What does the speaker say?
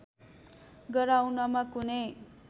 गराउनमा कुनै